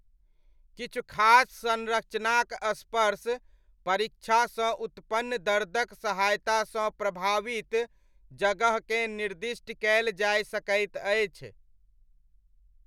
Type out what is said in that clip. किछु खास संरचनाक स्पर्श परीक्षासँ उत्पन्न दर्दक सहायतासँ प्रभावित जगहकेँ निर्दिष्ट कयल जाय सकैत अछि।